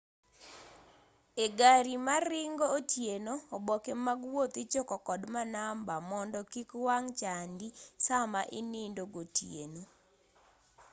e gari maringo otieno oboke mag wuoth ichoko kod manamba mondo kik wang' chandi sama inindo gotieno